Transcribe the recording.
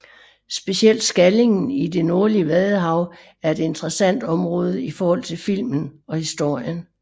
Specielt Skallingen i det nordlige Vadehav er et interessant område i forhold til filmen og historien